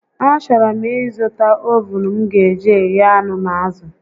A chọrọ m ị zụta ovuun m ga eji eghe anụ na azụ